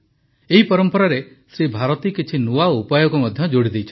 ଏହି ପରମ୍ପରାରେ ଶ୍ରୀ ଭାରତୀ କିଛି ନୂଆ ଉପାୟକୁ ମଧ୍ୟ ଯୋଡ଼ିଦେଇଛନ୍ତି